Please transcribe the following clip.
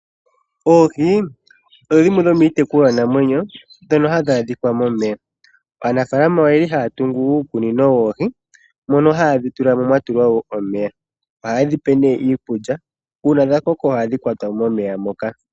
Oohi odho dhimwe dhomiitekulwanamwenyo ndhono hadhi adhika momeya. Aanafaalama ohaya tungu uukunino woohi mono haye dhi tula mwa tulwa wo omeya. Ohaye dhi pe nduno iikulya. Uuna dha koko ohaye dhi kwata mo momeya moka.